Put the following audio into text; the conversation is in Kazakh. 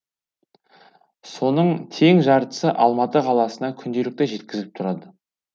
соның тең жартысы алматы қаласына күнделікті жеткізіліп тұрады